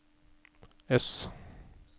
ess